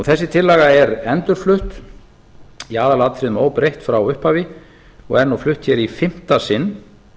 þessi tillaga er endurflutt í aðalatriðum óbreytt frá upphafi og er nú flutt hér í fimmta sinn